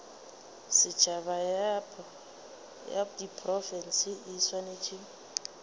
setšhaba ya diprofense e swanetše